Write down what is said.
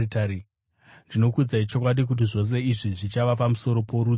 Ndinokuudzai chokwadi kuti zvose izvi zvichava pamusoro porudzi urwu.